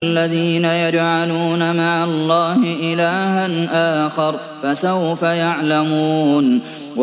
الَّذِينَ يَجْعَلُونَ مَعَ اللَّهِ إِلَٰهًا آخَرَ ۚ فَسَوْفَ يَعْلَمُونَ